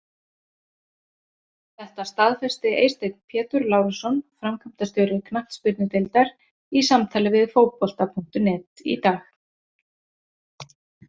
Þetta staðfesti Eysteinn Pétur Lárusson, framkvæmdastjóri knattspyrnudeildar, í samtali við Fótbolta.net í dag.